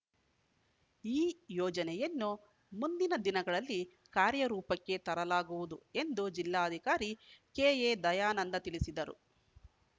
ಈ ಯೋಜನೆಯನ್ನು ಮುಂದಿನ ದಿನಗಳಲ್ಲಿ ಕಾರ್ಯರೂಪಕ್ಕೆ ತರಲಾಗುವುದು ಎಂದು ಜಿಲ್ಲಾಧಿಕಾರಿ ಕೆಎದಯಾನಂದ ತಿಳಿಸಿದರು